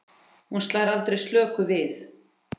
Hún slær aldrei slöku við.